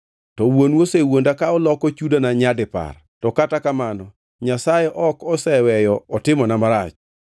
To wuonu osewuonda ka oloko chudona nyadipar. To kata kamano, Nyasaye ok oseweyo otimona marach.